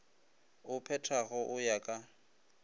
o phethago go ya ka